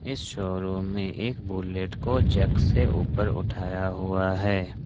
इस शोरूम में एक बुलेट को जैक से उपर उठाया हुआ है।